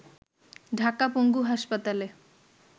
ঢাকা পঙ্গু হাসপাতালে